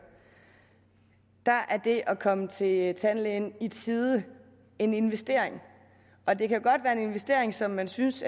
er det at komme til tandlægen i tide en investering og det kan godt være en investering som man synes